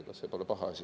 Ega see pole paha asi.